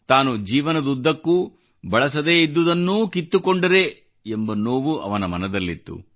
ತಾನು ಜೀವನದುದ್ದಕ್ಕೂ ಬಳಸದೇ ಇದ್ದುದನ್ನೂ ಕಿತ್ತುಕೊಂಡರೆ ಎಂಬ ನೋವು ಅವನ ಮನದಲ್ಲಿತ್ತು